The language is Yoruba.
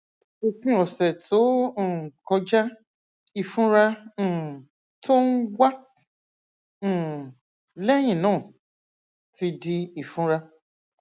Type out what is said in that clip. òpin ọsẹ tó um kọjá ìfunra um tó ń wá um lẹyìn náà ti di ìfunra